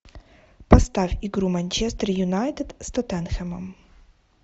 поставь игру манчестер юнайтед с тоттенхэмом